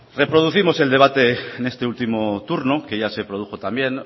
reproducimos el debate en este último turno que ya se produjo también